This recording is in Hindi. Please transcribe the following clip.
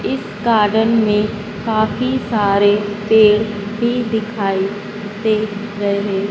इस गार्डन में काफी सारे पेड़ भी दिखाई दे रहे--